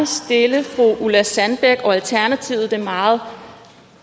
stille fru ulla sandbæk og alternativet det meget